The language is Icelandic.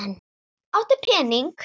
Áttu pening?